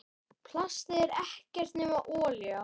Plastið er ekkert nema olía.